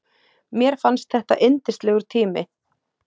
Mér fannst þetta yndislegur tími.